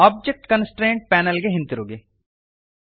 object constraints panel ಗೆ ಹಿಂತಿರುಗಿರಿ